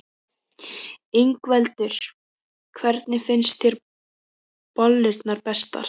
Ingveldur: Hvernig finnst þér bollurnar bestar?